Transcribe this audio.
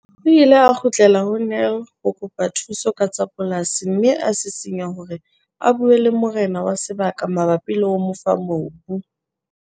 O ile a kgutlela ho Nel ho kopa thuso ka tsa polasi mme a sisinya hore a bue le morena wa sebaka mabapi le ho mo fa mobu.